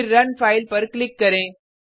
फिर run file पर click करें